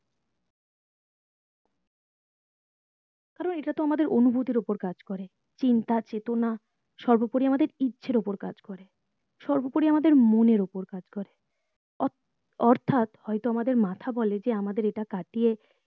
কারণ এটা তো আমাদের অনুভূতির উপর কাজ করে চিন্তা চেতনা সর্বোপরি আমাদের ইচ্ছের উপর কাজ করে সর্বোপরি আমাদের মনের উপর কাজ করে অ অর্থাৎহয়তো আমাদের মাথা বলে যে আমাদের এটা কাটিয়ে